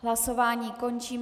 Hlasování končím.